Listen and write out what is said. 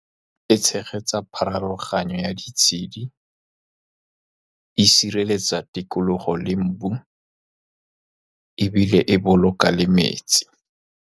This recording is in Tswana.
E tshegetsa pharologano ya ditshedi, e sireletsa tikologo le mobu, ebile e boloka le metsi.